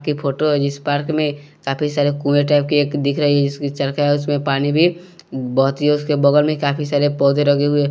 की फोटो जिस पार्क में काफी सारे कुएं टाइप के एक दिख रही है जिसकी चड़का है उसमें पानी भी बहुत ही उसके बगल में काफी सारे पौधे रखे हुए हैं।